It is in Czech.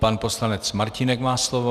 Pan poslanec Martínek má slovo.